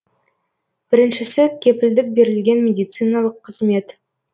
біріншісі кепілдік берілген медициналық қызмет